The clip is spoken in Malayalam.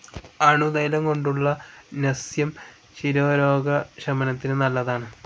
അണുതൈലംകൊണ്ടുള്ള നസ്യം ശിരോരോഗശമനത്തിനു നല്ലതാണ്.